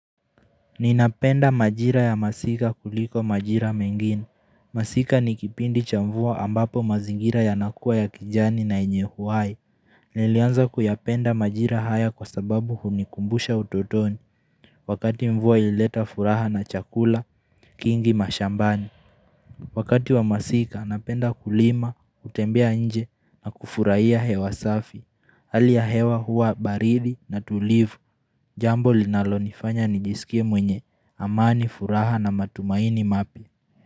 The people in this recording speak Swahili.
Ninapenda majira ya masika kuliko majira mengine, masika nikipindi cha mvua ambapo mazingira yanakua ya kijani na yenye uhai Nilianza kuyapenda majira haya kwa sababu hunikumbusha utotoni, wakati mvua ilileta furaha na chakula, kingi mashambani Wakati wa masika napenda kulima, kutembea nje na kufurahia hewa safi. Hali ya hewa hua baridi na tulivu Wakati wa masika napenda kulima, kutembea nje na kufurahia hewa safi.